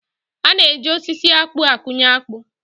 A na-eji osisi akpụ akụnye akpụ